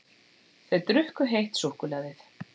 Þau drukku heitt súkkulaðið.